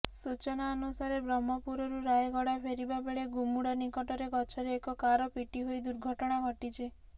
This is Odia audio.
ସୂଚନାଅନୁସାରେ ବ୍ରହ୍ମପୁରରୁ ରାୟଗଡା ଫେରିବା ବେଳେ ଗୁମୁଡା ନିକଟରେ ଗଛରେ ଏକ କାର ପିଟି ହୋଇ ଦୁର୍ଘଟଣା ଘଟିଛି